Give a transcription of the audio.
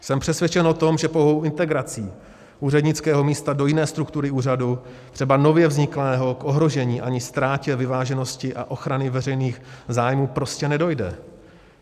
Jsem přesvědčen o tom, že pouhou integrací úřednického místa do jiné struktury úřadu, třeba nově vzniklého, k ohrožení ani ztrátě vyváženosti a ochrany veřejných zájmů prostě nedojde.